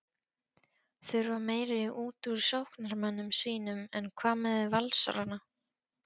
Þurfa meira útúr sóknarmönnum sínum En hvað með Valsarana?